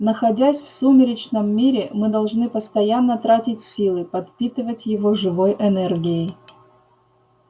находясь в сумеречном мире мы должны постоянно тратить силы подпитывать его живой энергией